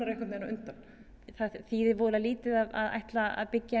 einhvern veginn á undan það þýðir voðalega lítið að ætla að byggja